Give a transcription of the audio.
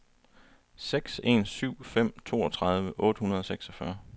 seks en syv fem toogtredive otte hundrede og seksogfyrre